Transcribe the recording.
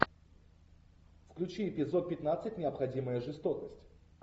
включи эпизод пятнадцать необходимая жестокость